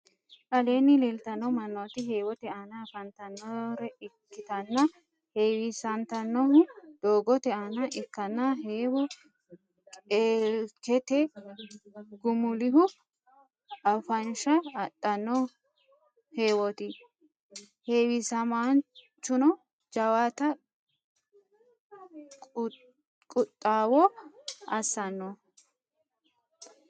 aleenni leelitanno mannoti heewote aana affantannore ikkitanna heewisantannohuno doogote aana ikkanna heewo qeelkete gumulihu affansha adhanno heewoti. heewisamaanchuno jawata quxxawo assanno.